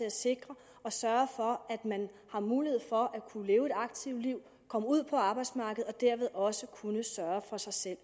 at sikre og sørge for at man har mulighed for at kunne leve et aktivt liv komme ud på arbejdsmarkedet og dermed også kunne sørge for sig selv